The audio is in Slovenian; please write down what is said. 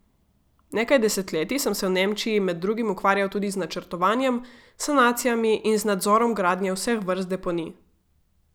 Nekaj desetletij sem se v Nemčiji med drugim ukvarjal tudi z načrtovanjem, sanacijami in z nadzorom gradnje vseh vrst deponij.